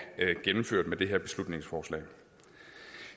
gennemført med det her beslutningsforslag